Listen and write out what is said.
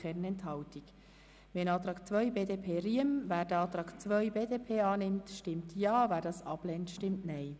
Wer den Antrag BDP betreffend Auflage 2 annimmt, stimmt Ja, wer diesen ablehnt, stimmt Nein.